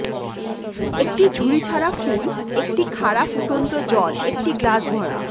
একটি ঝুড়ি ছাড়া ফুল একটি খাড়া ফুটন্ত জল একটি গ্লাস ভরা